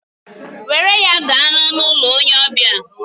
Were ya gaa n'ọnụ ụlọ onye ọbịa!